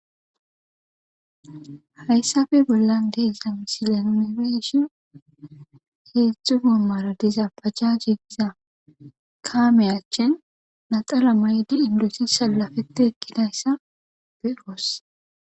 Hayssappe bollan diya misle nu be7ishin heezzu goomaara diza bajaaje kaamee achchen naxala maayidi sallafeththi eqqida asa be7oos;